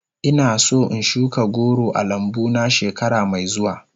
Ina son in shuka goro a lambu na shekara mai zuwa.